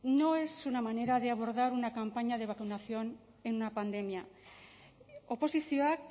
no es una manera de abordar una campaña de vacunación en una pandemia oposizioak